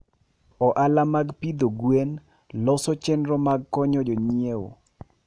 Ohala mag pidho gwen loso chenro mag konyo jonyiewo.